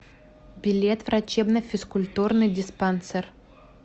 билет врачебно физкультурный диспансер